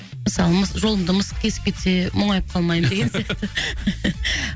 мысалы жолымды мысық кесіп кетсе мұңайып қалмаймын деген сияқты